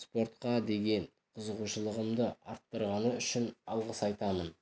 спортқа деген қызығушылығымды арттырғаны үшін алғыс айтамын